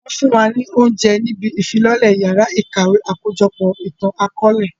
Wọn fún wa ní oúnjẹ níbí ìfilọ́lẹ yàrá ìkàwé àkójọpọ̀ ìtàn akọ̀ọ̀lẹ